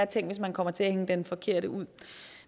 tænk hvis man kommer til at hænge den forkerte ud